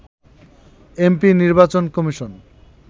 MP নির্বাচন commission